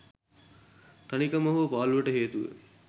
තනිකම හෝ පාළුවට හේතුව